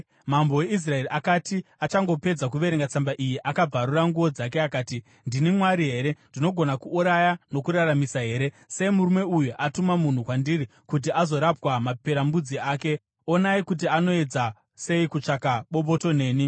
Mambo weIsraeri akati achangopedza kuverenga tsamba iyi, akabvarura nguo dzake akati, “Ndini Mwari here? Ndinogona kuuraya nokuraramisa here? Sei murume uyu atuma munhu kwandiri kuti azorapwa maperembudzi ake. Onai kuti anoedza sei kutsvaka bopoto neni!”